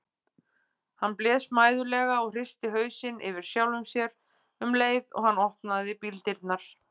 Hann blés mæðulega og hristi hausinn yfir sjálfum sér um leið og hann opnaði bíldyrnar.